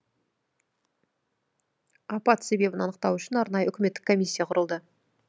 апат себебін анықтау үшін арнайы үкіметтік комиссия құрылды